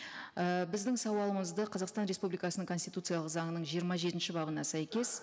ііі біздің сауалымызды қазақстан республикасының конституциялық заңының жиырма жетінші бабына сәйкес